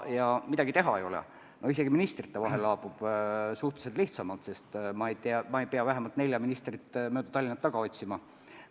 Ja midagi pole öelda – isegi ministrite vahel laabub koostöö suhteliselt lihtsamalt, sest ma ei pea vähemalt nelja ministrit mööda Tallinna taga otsima.